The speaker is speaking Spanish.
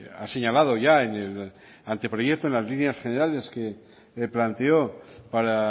ha señalado ya en el anteproyecto en las líneas generales que planteó para